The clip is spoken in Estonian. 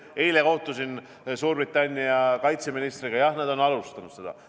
Eile kohtusin Suurbritannia kaitseministriga – jah, nad on alustanud seda.